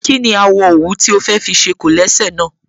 Kí ni àwọ̀ òwú tí o fẹ́ fi ṣe kólẹ̀sẹ̀ náà?